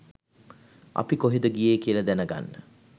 අපි කොහෙද ගියේ කියල දැනගන්න